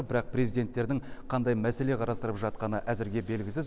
бірақ президенттердің қандай мәселе қарастырып жатқаны әзірге белгісіз